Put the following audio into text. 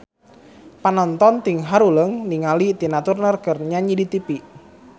Panonton ting haruleng ningali Tina Turner keur nyanyi di tipi